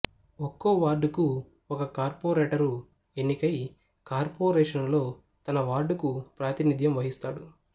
ఒక్కో వార్డుకు ఒక కార్పొరేటరు ఎన్నికై కార్పొరేషనులో తన వార్డుకు ప్రాతినిధ్యం వహిస్తాడు